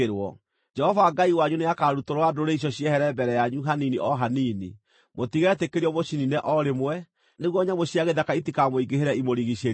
Jehova Ngai wanyu nĩakarutũrũra ndũrĩrĩ icio ciehere mbere yanyu hanini o hanini. Mũtigetĩkĩrio mũciniine o rĩmwe, nĩguo nyamũ cia gĩthaka itikamũingĩhĩre imũrigiicĩrie.